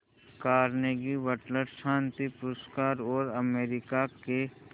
Carnegie Butler शांति पुरस्कार और अमेरिका के